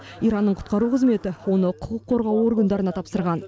иранның құтқару қызметі оны құқық қорғау органдарына тапсырған